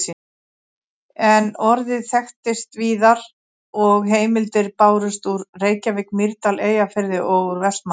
En orðið þekktist víðar og heimildir bárust úr Reykjavík, Mýrdal, Eyjafirði og úr Vestmannaeyjum.